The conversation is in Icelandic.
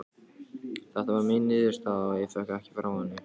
Þeta var mín niðurstaða og ég vék ekki frá henni.